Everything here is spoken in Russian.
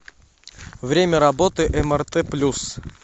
время работы мрт плюс